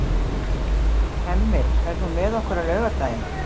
Hemmi, ferð þú með okkur á laugardaginn?